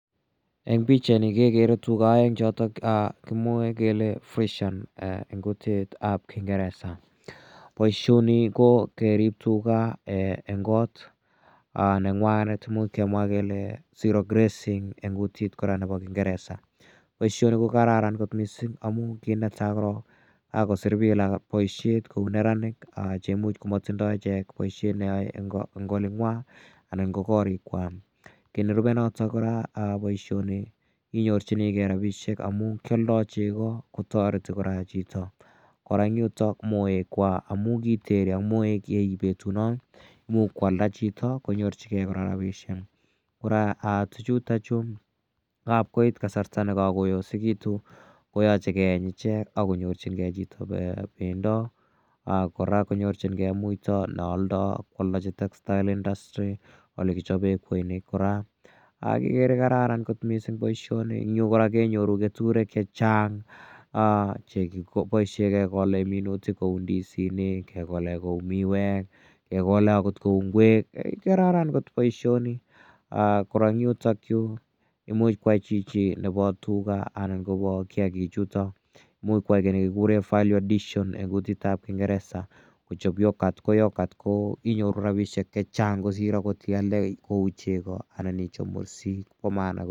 Eng' pichaini kekere tuga aeng' chotok che kimwae kele fresian eng' kutit ap kingeresa. Poishoni ko kerip tuga eng' kot neng'wanet imuch kemwa kora kele zero grazing eng' kutit ap kingeresa. Poishoni ko kararan kpt missing' amu kiit ne tai korok ko kakosir piik poishek kou neranik che imuch ko matindai ichek poishonik che yae eng' oling'wa anan ko koriikwak. Ki ne rupei notok kora poishoni inyorchinigei rapishek amu ki aldai cheko ko tareti kora chito. Kora eng' yutok moekwak amu kiteeri ak moek che echen petunot imuch ko alda chito konyorchigei chito kora rapishek. Kora tuchutachu ngap koit kasarta ne kakoosekitu koyache keeny ichek ak konyornyingei chito pendo ak kora konyorchingei kora muita ne aldai ak ko aldachin textile industry ole kichope kweinik kora. Ko ikere kararan kot poishoni. Eng' yu kora kenyoru keturek che chang' che kipoishe kekole minutik kekole kou ndisinik, ke kole kou miwek, kekole akot kou ngwek, kararan kot poishoni. Kora eng' yutakyu imuchi koyai chito akopa tuga anan kopa kiakichutok, imuch koyai ki ne kikure value addition eng' kutit ap kingeresa. Kochope yogurt. Ko yogurt ko inyoru rapishek che chang' kosir akot ialdai kou cheko anan ichop mursik.